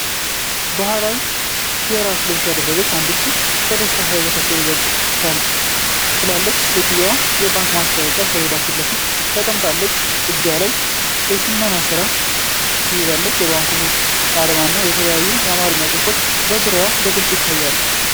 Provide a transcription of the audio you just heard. ባህላዊ የራስ ልብስ ያደረገች አንዲት ሴት በደስታ ፈገግ ትላለች። ሴትየዋ የባንክ ማስታወቂያ ሰሌዳ ፊት ለፊት ተቀምጣለች። በእጇ ላይ የሽመና ሥራ ትይዛለች። የባንኩ አርማ እና የተለያዩ የአማርኛ ጽሑፎች በዙሪያው በግልጽ ይታያሉ።